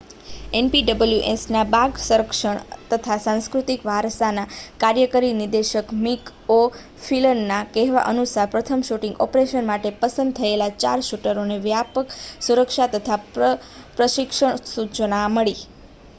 npwsના બાગ સંરક્ષણ તથા સાંસ્કૃતિક વારસાના કાર્યકારી નિદેશક મિક ઓ'ફ્લિનના કહેવા અનુસાર પ્રથમ શૂટિંગ ઑપરેશન માટે પસંદ થયેલા ચાર શૂટરોને વ્યાપક સુરક્ષા તથા પ્રશિક્ષણ સૂચના મળી